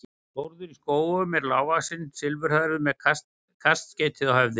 Þórður í Skógum er lágvaxinn og silfurhærður með kaskeiti á höfði.